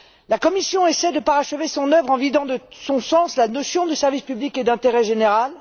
La Commission essaie de parachever son œuvre en vidant de son sens la notion de service public et d'intérêt général.